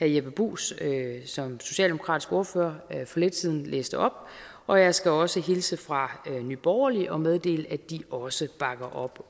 jeppe bruus som socialdemokratisk ordfører for lidt siden læste op og jeg skal også hilse fra nye borgerlige og meddele at de også bakker op